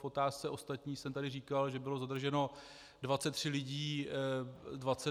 K otázce ostatních jsem tady říkal, že bylo zadrženo 23 lidí.